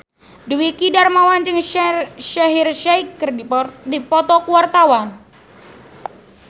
Dwiki Darmawan jeung Shaheer Sheikh keur dipoto ku wartawan